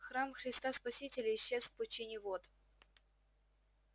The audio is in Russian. храм христа спасителя исчез в пучине вод